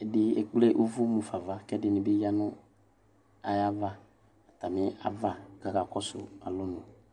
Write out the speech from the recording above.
ɛdi ekple ʋvʋ mʋfa nʋ ava kʋ ɛdini bi yanʋ atami ava kʋ aka kɔsʋ alɔnʋ